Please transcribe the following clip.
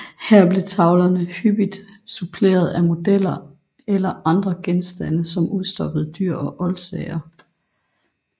Her blev tavlerne hyppigt suppleret af modeller eller andre genstande som udstoppede dyr og oldsager